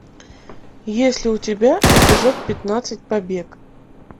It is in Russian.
есть ли у тебя эпизод пятнадцать побег